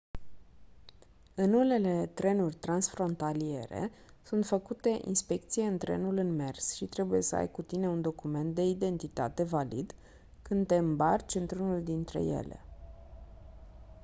în unele trenuri transfrontaliere sunt făcute inspecții în trenul în mers și trebuie să ai cu tine un document de identitate valid când te îmbarci într-unul dintre ele